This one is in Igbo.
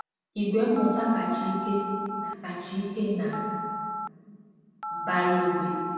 "igwe mmụta kacha ike na kacha ike na mbara igwe"